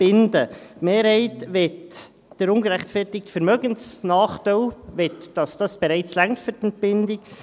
Die Mehrheit möchte, dass der «ungerechtfertigte Vermögensnachteil» bereits reicht für die Entbindung.